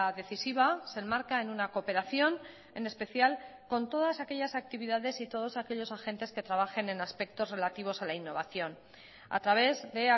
decisiva se enmarca en una cooperación en especial con todas aquellas actividades y todos aquellos agentes que trabajen en aspectos relativos a la innovación a través de